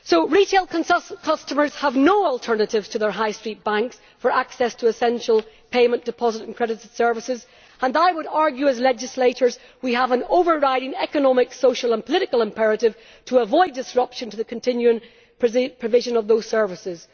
Retail customers have no alternatives to their high street banks for access to essential payment, deposit and credit services and I would argue as legislators we have an overriding economic, social and political imperative to avoid disruption to the continuing provision of those services.